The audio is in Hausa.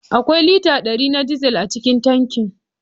Akwai lita dari na dizal a cikin tankin.